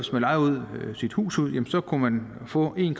lejede sit hus ud kunne man få en